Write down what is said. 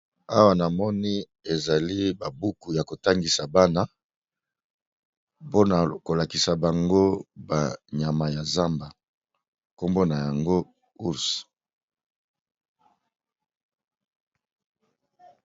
Awa na moni ezali babuku ya kotangisa bana mpona kolakisa bango banyama ya zamba nkombo na yango urs